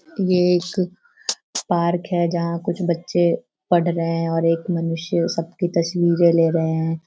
ये एक पार्क हैं जहाँ कुछ बच्चे पढ़ रहे हैं और एक मनुष्य सबकी तस्वीरें ले रहे हैं।